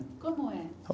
Como é?